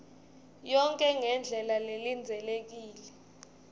yonkhe ngendlela lelindzelekile